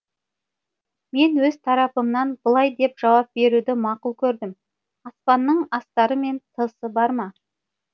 мен өз тарапымнан былай деп жауап беруді мақұл көрдім аспанның астары мен тысы бар ма